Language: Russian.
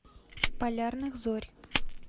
полярных зорь